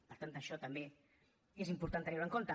per tant això també és important tenir ho en compte